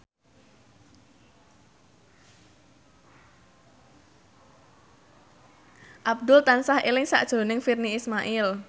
Abdul tansah eling sakjroning Virnie Ismail